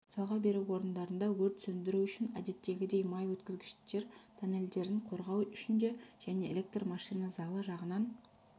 жалға беру орындарында өрт сөндіру үшін әдеттегідей май өткізгіштер тоннельдерін қорғау үшін де және электр машина залы жағынан